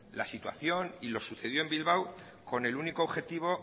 la situación y lo sucedido en bilbao con el único objetivo